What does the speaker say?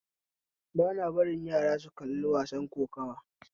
Bana barin yara su kalli wasan kokuwa